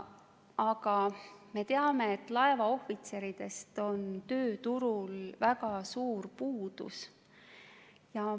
Aga me teame, et laevaohvitseridest on tööturul väga suur puudus.